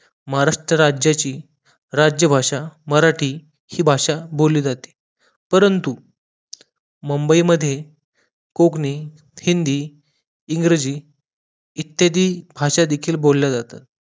महाराष्ट्र राज्याची राज्यभाषा मराठी हि भाषा बोलली जाते परंतु मुंबई मध्ये कोकणी हिंदी इंग्रजी इत्यादी भाषा देखील बोलल्या जातात